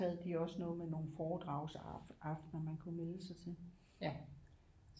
Havde de også noget med nogle foredragsaftener man kunne melde sig til